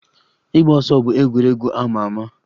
Ịgba ọsọ bụ egwuregwu a ma ama